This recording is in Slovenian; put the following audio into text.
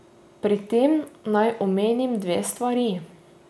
Pri tem naj omenim dve stvari.